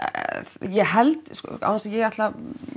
ég held án þess að ég ætli að